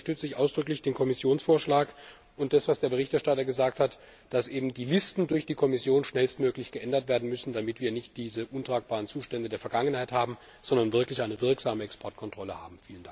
Deswegen unterstütze ich ausdrücklich den Kommissionsvorschlag und das, was der Berichterstatter gesagt hat, dass die Listen durch die Kommission schnellstmöglich geändert werden müssen, damit wir nicht diese untragbaren Zustände aus der Vergangenheit, sondern eine wirksame Exportkontrolle haben.